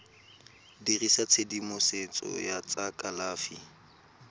dirisa tshedimosetso ya tsa kalafi